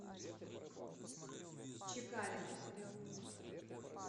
чекалину